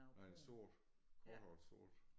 Nej sort korthåret sort